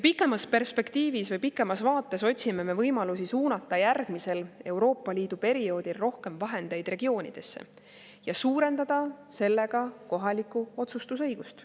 Pikemas perspektiivis otsime me võimalusi suunata järgmisel Euroopa Liidu perioodil rohkem vahendeid regioonidesse ja suurendada sellega kohalikku otsustusõigust.